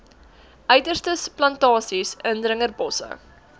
uiterstes plantasies indringerbosse